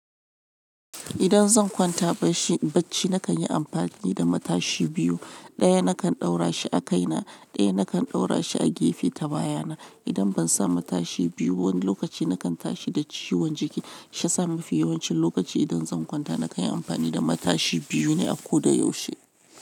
Idan zan kwanta barci, baccina nakan yi amfani da matashi biyu. Ɗaya nakan ɗaura shi a kaina, ɗaya nakan ɗaura shi a gefe ta baya na. Idan ban sa matashi biyu ba wani lokaci nakan tashi da ciwon jiki. Shiya sami fi yawancin lokaci idan zan kwanta nakan yi amfani da matashi biyu ne a ko da yaushe.